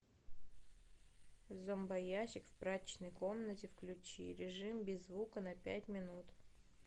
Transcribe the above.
зомбоящик в прачечной комнате включи режим без звука на пять минут